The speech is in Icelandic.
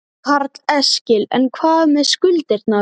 Karl Eskil: En hvað með skuldirnar?